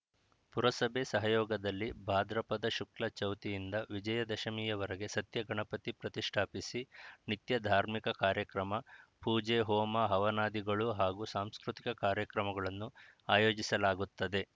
ಪುರಸಭೆ ಸಹಯೋಗದಲ್ಲಿ ಭಾದ್ರಪದ ಶುಕ್ಲ ಚೌತಿಯಿಂದ ವಿಜಯದಶಮಿವರೆಗೆ ಸತ್ಯಗಣಪತಿ ಪ್ರತಿಷ್ಠಾಪಿಸಿ ನಿತ್ಯ ಧಾರ್ಮಿಕ ಕಾರ್ಯಕ್ರಮ ಪೂಜೆ ಹೋಮ ಹವನಾದಿಗಳು ಹಾಗೂ ಸಾಂಸ್ಕೃತಿಕ ಕಾರ್ಯಕ್ರಮಗಳನ್ನು ಆಯೋಜಿಸಲಾಗುತ್ತದೆ